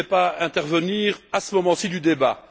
Je ne voulais pas intervenir à ce moment ci du débat.